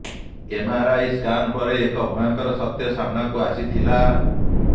MRI scan ପରେ ଏକ ଭୟଙ୍କର ସତ୍ୟ ସାମ୍ନାକୁ ଆସିଥିଲା